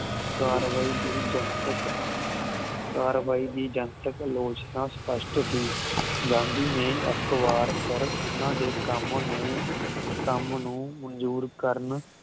ਕਾਰਵਾਈ ਦੀ ਜਨਤਕ ਕਾਰਵਾਈ ਦੀ ਜਨਤਕ ਆਲੋਚਨਾ ਸਪਸ਼ਟ ਸੀ ਗਾਂਧੀ ਨੇ ਇੱਕ ਵਾਰ ਫਿਰ ਉਹਨਾਂ ਦੇ ਕੰਮ ਨੂੰ ਕੰਮ ਨੂੰ ਮਨਜੂਰ ਕਰਨ